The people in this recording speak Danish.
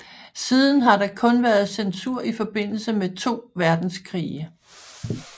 Siden har der kun været censur i forbindelse med de to verdenskrige